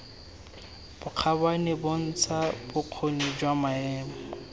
bokgabane bontsha bokgoni jwa maemo